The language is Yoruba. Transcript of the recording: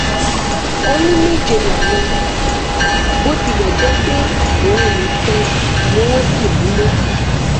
ó ní méje làwọn bó tilẹ jẹ pé òun nìkan ni wọn sì rí mú